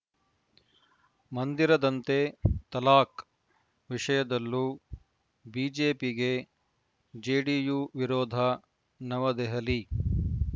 ಮಂದಿರದಂತೆ ತಲಾಖ್‌ ವಿಷಯದಲ್ಲೂ ಬಿಜೆಪಿಗೆ ಜೆಡಿಯು ವಿರೋಧ ನವದೆಹಲಿ